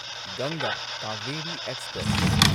ꯒꯪꯒꯥ ꯀꯥꯚꯦꯔꯤ ꯑꯦꯛꯁꯄ꯭ꯔꯦꯁ